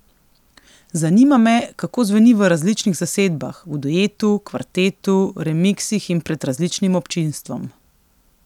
Zanima me, kako zveni v različnih zasedbah, v duetu, kvartetu, remiksih in pred različnim občinstvom.